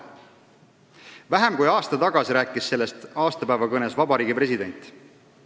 Vähem kui aasta tagasi rääkis sellest aastapäevakõnes ka meie riigi president.